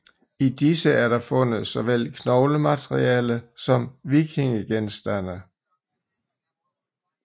I disse er der fundet såvel knoglemateriale som vikingegenstande